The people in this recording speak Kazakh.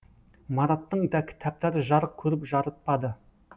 мараттың да кітаптары жарық көріп жарытпады